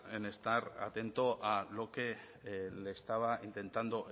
en estar atento a lo que le estaba intentando